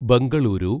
Bengaluru